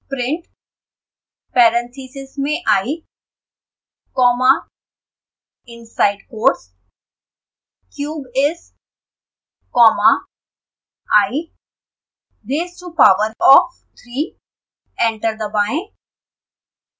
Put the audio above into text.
print parentheses में i comma inside quotes cube is comma i raised to power of three enter दबाएं